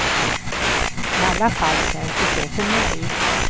I alla fall känns det så för mig.